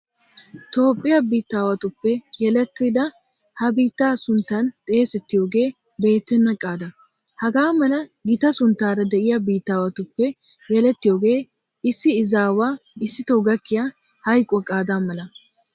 Toophphiya biittaawatuppe yelettidada ha biittaa sunttan xeesettiyogee beettenna qaada. Hagaa mala gita sunttaara de'iya biittaawatuppe yelettiyogee issi izaawa issitoo gakkiya hayquwa qaadaa mala.